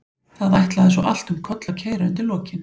Það ætlaði svo allt um koll að keyra undir lokin.